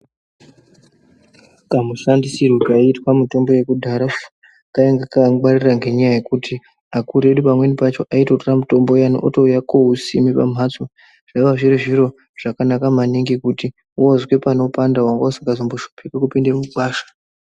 Kamishandisirwo kaiitwa mitombo yakudhara kainga kaka ngwarira ngenyaya yekuti akuru edu pamweni pacho aitotora mutombo uya otouya kousime pamhatso. Zvaiva zviri zviro zvakanaka maningi kuti vozwe panopanda vangausingazomboshipiki kupinde mugwasha.